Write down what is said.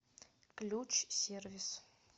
ключ сервис